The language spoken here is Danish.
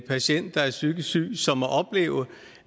patient der er psykisk syg som må opleve